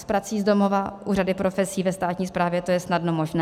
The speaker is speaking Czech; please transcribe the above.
S prací z domova u řady profesí ve státní správě to je snadno možné.